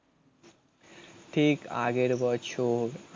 ঠিক আগের বছর